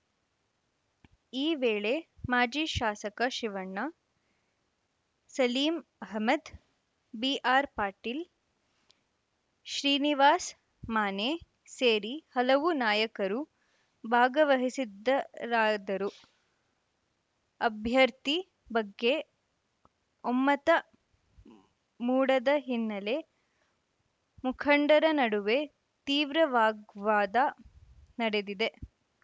ಈ ವೇಳೆ ಮಾಜಿ ಶಾಸಕ ಶಿವಣ್ಣ ಸಲೀಂ ಅಹಮದ್‌ ಬಿಆರ್‌ ಪಾಟೀಲ್‌ ಶ್ರೀನಿವಾಸ ಮಾನೆ ಸೇರಿ ಹಲವು ನಾಯಕರು ಭಾಗವಹಿಸಿದ್ದರಾದರೂ ಅಭ್ಯರ್ಥಿ ಬಗ್ಗೆ ಒಮ್ಮತ ಮೂಡದ ಹಿನ್ನೆಲೆ ಮುಖಂಡರ ನಡುವೆ ತೀವ್ರ ವಾಗ್ವಾದ ನಡೆದಿದೆ